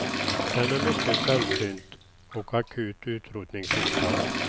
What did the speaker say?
Den är mycket sällsynt och akut utrotningshotad.